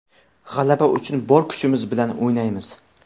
G‘alaba uchun bor kuchimiz bilan o‘ynaymiz.